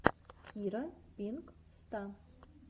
кира пинк ста